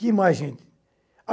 Que mais, gente?